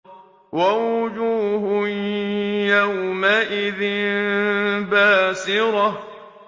وَوُجُوهٌ يَوْمَئِذٍ بَاسِرَةٌ